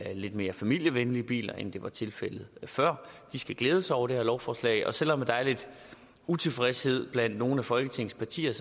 lidt mere familievenlige biler end det var tilfældet før de skal glæde sig over det her lovforslag selv om der er lidt utilfredshed blandt nogle af folketingets partier